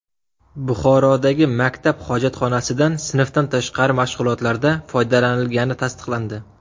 Buxorodagi maktab hojatxonasidan sinfdan tashqari mashg‘ulotlarda foydalanilgani tasdiqlandi.